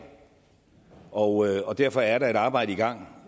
og og derfor er der et arbejde i gang